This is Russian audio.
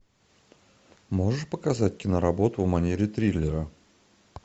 можешь показать киноработу в манере триллера